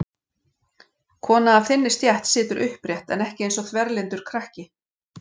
Kona af þinni stétt situr upprétt en ekki eins og þverlyndur krakki.